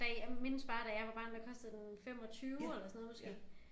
Da jeg mindes bare da jeg var barn der kostede den 25 eller sådan noget måske